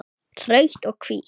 Rautt og hvítt